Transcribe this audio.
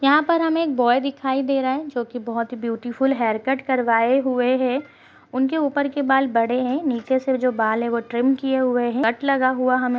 यहाँ पर हमें एक बॉय दिखाई दे रहा है जो कि बोहोत ही ब्यूटीफुल हेयर कट करवाए हुए है उनके ऊपर के बाल बड़े हैं नीचे से जो बाल है ट्रिम किये हुए हैं कट लगा हुआ हमें --